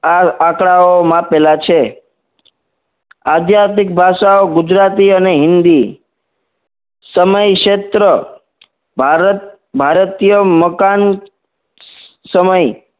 આ આંકડાઓ માપેલા છે આધ્યાત્મિક ભાષાઓ ગુજરાતી અને હિન્દી સમય શેત્ર ભારત ભારતીય મકાન સમય